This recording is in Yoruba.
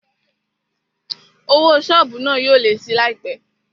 Owó sọ́ọ̀bù náà yóò lé síi láìpé